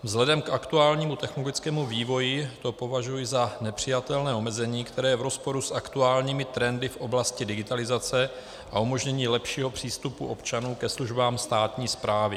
Vzhledem k aktuálnímu technologickému vývoji to považuji za nepřijatelné omezení, které je v rozporu s aktuálními trendy v oblasti digitalizace a umožnění lepšího přístupu občanů ke službám státní správy.